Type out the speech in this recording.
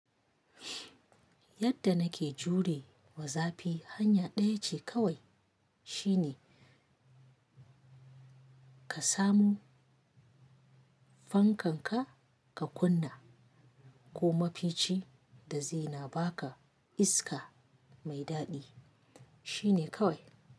Yadda nake jure wa zafi hanya ɗaya ce kawai shine ka samu fankan ka ka kunna ko mafici da zai na ba ka iska mai daɗi shine kawai.